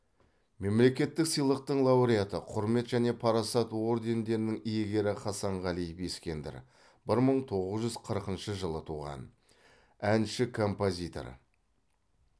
мемлекеттік сыйлықтың лауреаты құрмет және парасат ордендерінің иегері хасанғалиев ескендір бір мың тоғыз жүз қырқыншы жылы туған әнші композитор